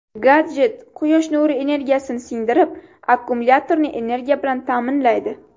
Gadjet quyosh nuri energiyasini singdirib, akkumulyatorni energiya bilan ta’minlaydi.